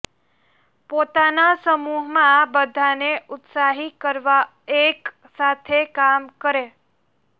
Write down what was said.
પોતાના સમૂહ માં બધા ને ઉત્સાહિત કરવા એક સાથે કામ કરે